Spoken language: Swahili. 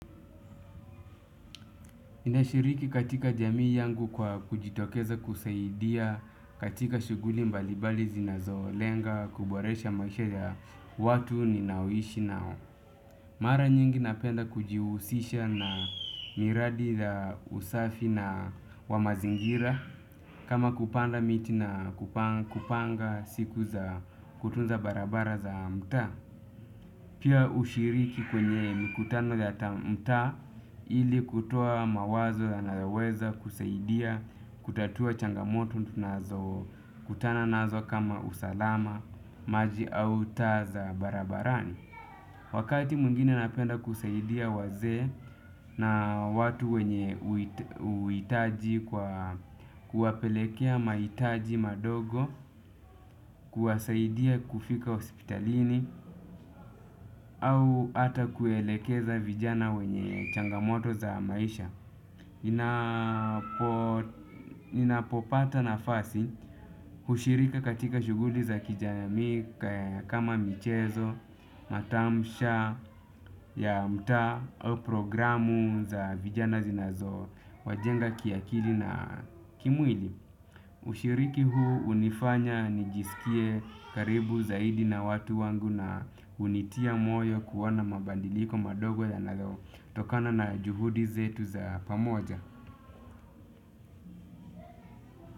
Nashiriki katika jamii yangu kwa kujitokeza kusaidia katika shughuli mbalibali zinazolenga kuboresha maisha ya watu ninaoishi nao. Mara nyingi napenda kujihusisha na miradi ya usafi wa mazingira. Kama kupanda miti na kupanga siku za kutunza barabara za mtaa. Pia hushiriki kwenye mikutano ya mtaa ili kutoa mawazo yanayoweza kusaidia kutatua changamoto tunazokutana nazo kama usalama maji au taa za barabarani. Wakati mwngine napenda kusaidia wazee na watu wenye uhitaji kwa kuwapelekea mahitaji madogo. Kuwasaidia kufika hospitalini au ata kuelekeza vijana wenye changamoto za maisha. Ninapopata nafasi hushirika katika shughuli za kijamii kama michezo, matamsha, ya mtaa au programu za vijana zinazowajenga kiakili na kimwili. Ushiriki huu unifanya nijisikie karibu zaidi na watu wangu na hunitia moyo kuona mabadiliko madogo yanayotokana na juhudi zetu za pamoja.